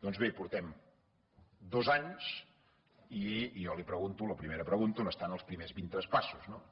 doncs bé portem dos anys i jo li pregunto la primera pregunta on estan els primers vint traspassos no